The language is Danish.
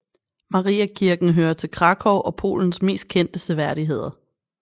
Mariakirken hører til Kraków og Polens mest kendte seværdigheder